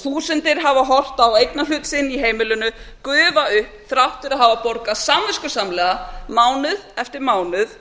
þúsundir hafa horft á eignarhlut sinn í heimilinu gufa upp þrátt fyrir að hafa borgað samviskusamlega mánuð eftir mánuð